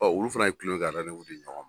Bawo olu fana ye tulon kɛ ka di ɲɔgɔn man!